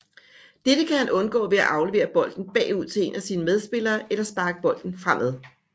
Dette kan han undgå ved at aflevere bolden bagud til en af sine medspillere eller sparke bolden fremad